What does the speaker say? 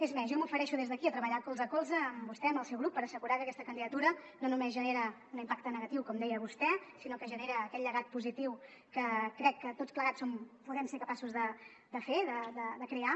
és més jo m’ofereixo des d’aquí a treballar colze a colze amb vostè amb el seu grup per assegurar que aquesta candidatura no només genera un impacte negatiu com deia vostè sinó que genera aquest llegat positiu que crec que tots plegats podem ser capaços de fer de crear